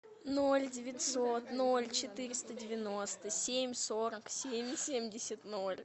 ноль девятьсот ноль четыреста девяносто семь сорок семь семьдесят ноль